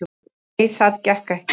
"""Nei, það gekk ekki."""